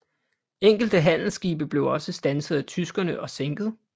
Enkelte handelsskibe blev også standset af tyskerne og sænket